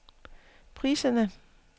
priserne